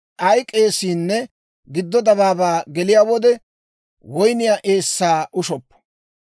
Ay k'eesiinne gido dabaabaa geliyaa wode, woyniyaa eessaa ushoppo.